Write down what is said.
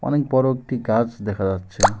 অনেক বড় একটি গাছ দেখা যাচ্ছে।